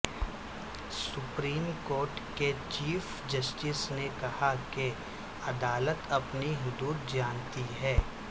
supreme court کے chief justice نے کہا کہ عدالت اپنی حدود جانتی ہے